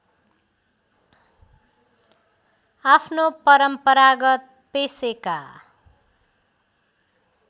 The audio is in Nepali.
आफ्नो परम्परागत पेशेका